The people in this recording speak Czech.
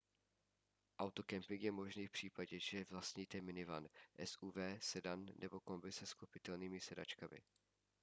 autokemping je možný v případě že vlastníte minivan suv sedan nebo kombi se sklopitelnými sedačkami